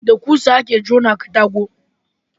da ƙusa a ke jona katako